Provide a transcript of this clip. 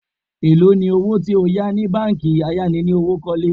Èló ni owó tí o yà ni báńkì ayánilówókọ́lé?